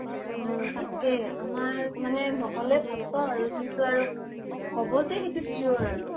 উম, তাকে । আমাৰ মানে নহʼলে ভাল পাওঁ আৰু । কিন্তু আৰু হʼব যে সেইটো sure আৰু ।